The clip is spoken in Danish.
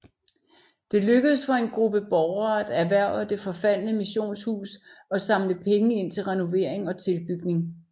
Det lykkedes for en gruppe borgere at erhverve det forfaldne missionshus og samle penge ind til renovering og tilbygning